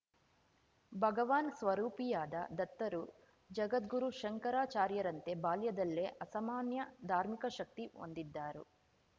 ಭಗವಾನ್‌ ಸ್ವರೂಪಿಯಾದ ದತ್ತರು ಜಗದ್ಗುರು ಶಂಕರಾಚಾರ್ಯರಂತೆ ಬಾಲ್ಯದಲ್ಲೇ ಅಸಮಾನ್ಯ ಧಾರ್ಮಿಕ ಶಕ್ತಿ ಹೊಂದಿದ್ದರು